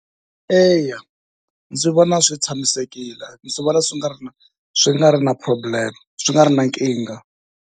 Eya ndzi vona swi tshamisekile, ndzi swi vona swi nga ri na swi nga ri na problem swi nga ri na nkingha.